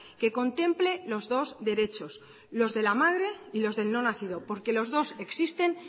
que contemple los dos derechos los de la madre y los del no nacido porque los dos existen